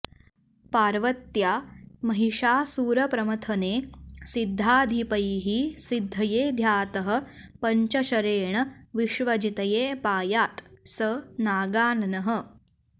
पार्वत्या महिषासुरप्रमथने सिद्धाधिपैः सिद्धये ध्यातः पञ्चशरेण विश्वजितये पायात् स नागाननः